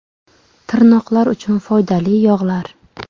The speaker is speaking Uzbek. Tirnoqlar uchun foydali yog‘lar.